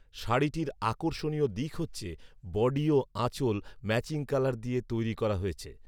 শাড়িটির আকর্ষণীয় দিক হচ্ছে, বডি ও আচঁল ম্যাচিং কালার দিয়ে তৈরী করা হয়েছে